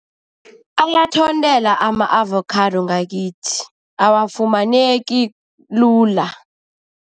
Ayathontela ama-avakhado ngakithi, awafumaneki lula.